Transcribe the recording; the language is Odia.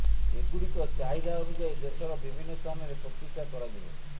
ଏଗୁଡ଼ିକ ଚାହିଦା ଅନୁଯାୟୀ ଦେଶର ବିଭିନ୍ନ ସ୍ଥାନରେ ପ୍ରତିଷ୍ଠା କରାଯିବ